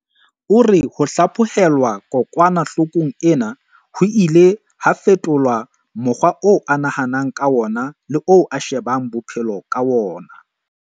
O re ho hlaphohelwa kokwana-hlokong ena ho ile ha fetola mokgwa oo a nahanang ka wona le oo a shebang bophe-lo ka wona.